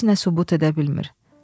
Heç nə sübut edə bilmir.